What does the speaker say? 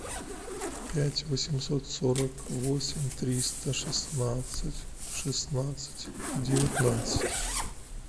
пять восемьсот сорок восемь триста шестнадцать шестнадцать девятнадцать